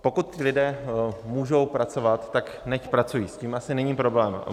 Pokud ti lidé můžou pracovat, tak nechť pracují, s tím asi není problém.